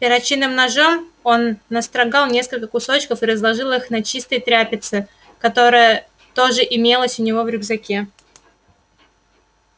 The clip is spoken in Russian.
перочинным ножом он настрогал несколько кусочков и разложил их на чистой тряпице которая тоже имелась у него в рюкзаке